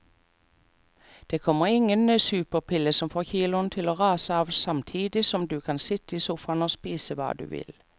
Det kommer ingen superpille som får kiloene til å rase av samtidig som du kan sitte i sofaen og spise hva du vil.